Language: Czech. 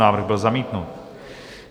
Návrh byl zamítnut.